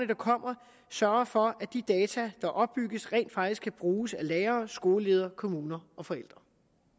der kommer sørger for at de data der oplyses rent faktisk kan bruges af lærere skoleledere kommuner og forældre